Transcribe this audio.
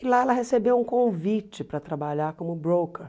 E lá ela recebeu um convite para trabalhar como broker.